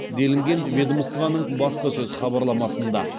делінген ведомствоның баспасөз хабарламасында